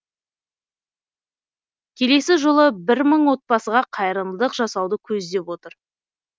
келесі жолы бір мың отбасыға қайырымдылық жасауды көздеп отыр